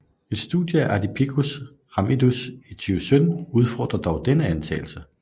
Et studie af Ardipithecus ramidus i 2017 udfordrer dog denne antagelse